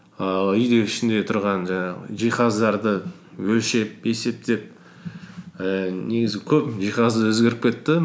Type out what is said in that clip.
ііі үйдегі ішінде тұрған жаңағы жиһаздарды өлшеп есептеп ііі негізі көп жиһазы өзгеріп кетті